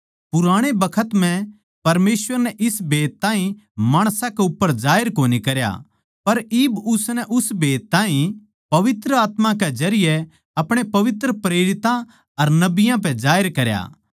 पुराणे बखत म्ह परमेसवर नै इस भेद ताहीं माणसां के उप्पर जाहिर कोनी करया पर इब उसनै उस भेद ताहीं पवित्र आत्मा कै जरिये अपणे पवित्र प्रेरितां अर नबियाँ पै जाहिर करया